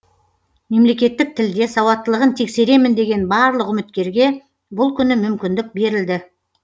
мемлекеттік тілде сауаттылығын тексеремін деген барлық үміткерге бұл күні мүмкіндік берілді